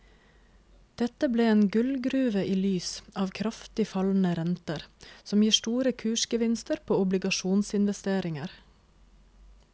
Dette ble en gullgruve i lys av kraftig fallende renter, som gir store kursgevinster på obligasjonsinvesteringer.